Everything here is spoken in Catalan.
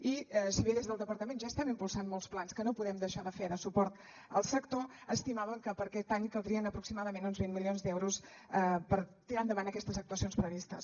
i si bé des del departament ja estem impulsant molts plans que no podem deixar de fer de suport al sector estimàvem que per a aquest any caldrien aproximadament uns vint milions d’euros per tirar endavant aquestes actuacions previstes